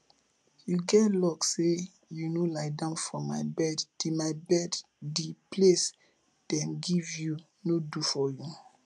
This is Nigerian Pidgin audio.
you get luck say you no lie down for my bed the my bed the place dem give you no do for you